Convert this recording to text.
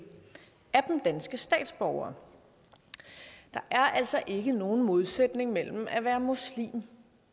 danske statsborgere der er altså ikke nogen modsætning mellem at være muslim